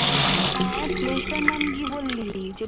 হ্যাঁ place টার নাম কি বললি? যে